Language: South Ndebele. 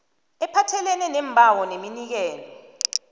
ephathelene neembawo neminikelo